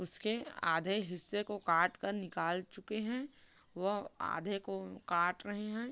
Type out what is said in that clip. उसके आधे हिस्से को काट कर निकाल चुके हैं वह आधे को काट रहे हैं।